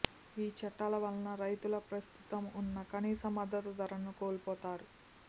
ఈ చట్టాల వలన రైతులు ప్రస్తుతం ఉన్న కనీస మద్దతు ధరను కోల్పోతారు